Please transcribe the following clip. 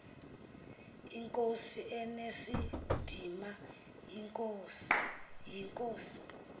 inkosi enesidima yinkosi